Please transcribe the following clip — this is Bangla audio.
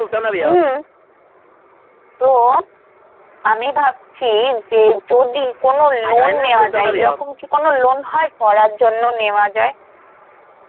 হম, তো আমি ভাবছি যে যদি কোনো loan নেওয়া যায়, এরকম কি কোনো loan হয় পড়ার জন্য নেওয়া যায়?